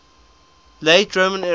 late roman era